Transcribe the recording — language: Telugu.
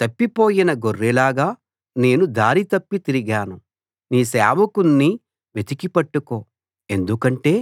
తప్పిపోయిన గొర్రెలాగా నేను దారి తప్పి తిరిగాను నీ సేవకుణ్ణి వెతికి పట్టుకో ఎందుకంటే